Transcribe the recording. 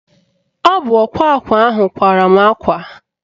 Ọ bụ ọkwa akwa ahụ kwara mụ akwa